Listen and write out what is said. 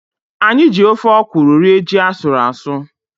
Anyị ji ofe ọkwụrụ rie ji asụrụ asụ.